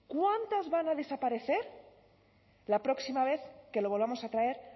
cuántas van a desaparecer la próxima vez que lo volvamos a traer